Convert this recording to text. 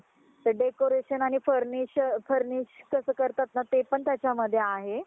decoration आणि furnish furnish कसं करतात ना ते पण त्याच्यामध्ये आहे.